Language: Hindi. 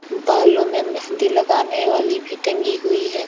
बालों में मेहंदी लगाने वाली भी टंगी हुई है।